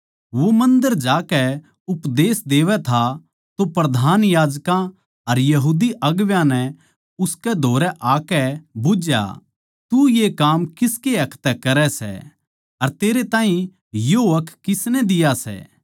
वो मन्दर जाकै उपदेश देवै था तो प्रधान याजकां अर यहूदी अगुवां नै उसकै धोरै आकै बुझ्झया तू ये काम किसकै हक तै करै सै अर तेरै ताहीं यो हक किसनै दिया सै